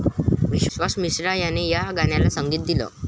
विशाल मिश्रा याने या गाण्याला संगीत दिलं.